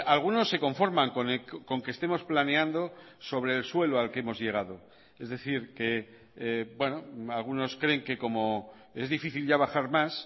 algunos se conforman con que estemos planeando sobre el suelo al que hemos llegado es decir que algunos creen que como es difícil ya bajar más